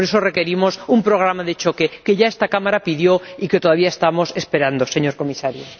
Por eso requerimos un programa de choque, que ya esta Cámara pidió, y que todavía estamos esperando, señor Comisario.